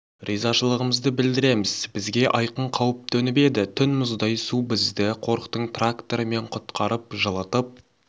ризашылығымызды білдіреміз бізге айқын қауіп төніп еді түн мұздай су бізді қорықтың тракторымен құтқарып жылытып